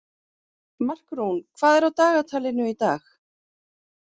Markrún, hvað er í dagatalinu í dag?